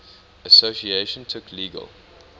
association took legal